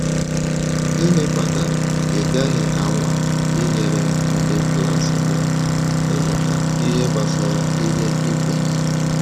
Gịnị kpatara ị gaghị anwa inyere ndị klas gị aka ịmụta ihe gbasara ihe ị kwenyere?